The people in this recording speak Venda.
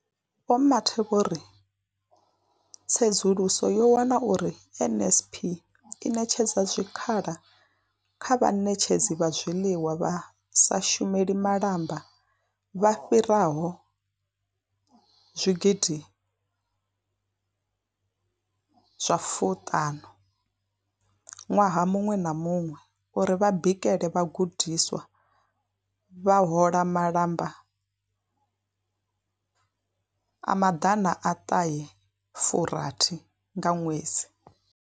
Vho Mathe vho ri tsedzuluso yo wana uri NSNP i ṋetshedza zwikhala kha vhaṋetshedzi vha zwiḽiwa vha sa shumeli malamba vha fhiraho zwigidi zwa fu ṱhanu ṅwaha muṅwe na muṅwe uri vha bikele vhagudiswa, vha hola malamba a maḓana a fu ṱahe nga ṅwedzi.